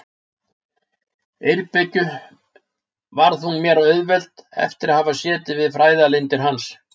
Eyrbyggju varð hún mér auðveld eftir að hafa setið við fræðalindir hans.